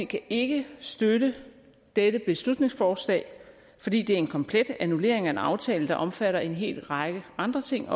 kan ikke støtte dette beslutningsforslag fordi det er en komplet annullering af en aftale der også omfatter en hel række andre ting